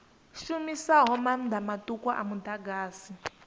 shumisaho maanḓa maṱuku a muḓagasi